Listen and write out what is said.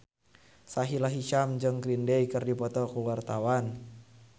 Sahila Hisyam jeung Green Day keur dipoto ku wartawan